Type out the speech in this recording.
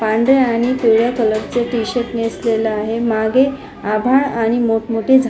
पांढऱ्या आणि पिवळ्या कलरच टीशर्ट नेसलेल आहे मागे आभाळ आणि मोठ मोठ झा --